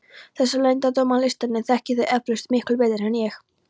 Þessa leyndardóma listarinnar þekkið þér eflaust miklu betur en ég.